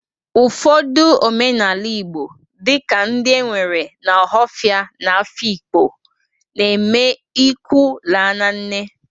Ụfọdụ omenala Igbo dị ka ndị e nwere na ọhafịa na Afikpo, na-eme ịkwụ la na nne.